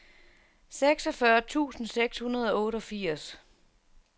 seksogfyrre tusind seks hundrede og otteogfirs